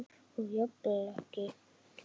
Og jafnvel ekki beðinn um.